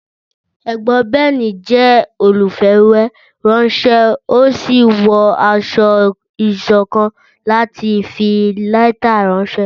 Ẹ̀gbọ́n Ben jẹ́ olùfìwéránṣẹ́, ó sì wọ aṣọ ìṣọ̀kan láti fi lẹ́tà ránṣẹ́.